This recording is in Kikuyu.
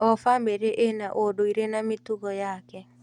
O bamĩrĩ ĩna ũndũire na mĩtugo yake.